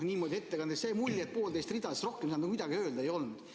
Niimoodi jäi ettekandest mulje, et poolteist rida, rohkem midagi öelda ei olnud.